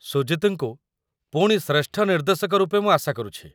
ସୁଜିତ୍‌ଙ୍କୁ ପୁଣି ଶ୍ରେଷ୍ଠ ନିର୍ଦ୍ଦେଶକ ରୂପେ ମୁଁ ଆଶା କରୁଛି।